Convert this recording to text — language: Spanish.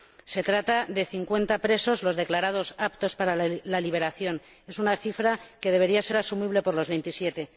Se trata de 50 presos los declarados aptos para la liberación. Es una cifra que debería ser asumible por los Veintisiete.